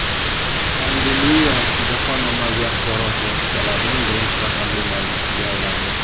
Pandemiya jahon ommaviy axborot vositalarining birinchi raqamli mavzusiga aylandi.